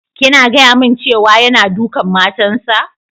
Kina gaya mun cewa yana dukan matan sa?